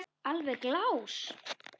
Alveg glás.